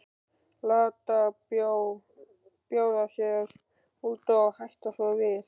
Láta bjóða sér út og hætta svo við.